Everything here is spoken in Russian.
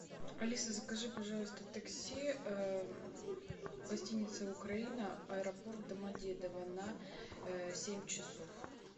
алиса закажи пожалуйста такси гостиница украина аэропорт домодедово на семь часов